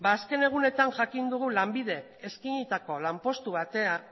ba azken egunetan jakin dugu lanbidek eskainitako